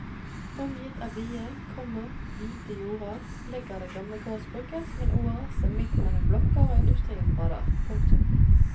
Omgitt av vide, komma hvite jorder ligger det gamle gårdsbruket som en oase midt mellom blokker og industriområder. punktum